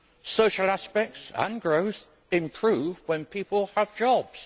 Social aspects and growth improve when people have jobs.